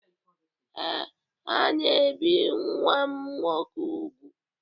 Ee, ha na-ebi nwa m nwoke úgwù.